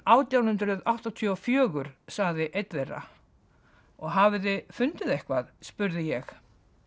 átján hundruð áttatíu og fjögur sagði einn þeirra og hafið þið fundið eitthvað spurði ég